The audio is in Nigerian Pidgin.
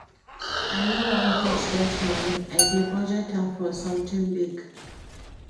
I no wan touch dat money, I dey budget am for something big